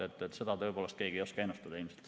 Seda ei oska tõepoolest keegi ennustada.